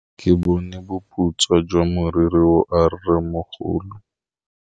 Ke bone boputswa jwa meriri ya rrêmogolo.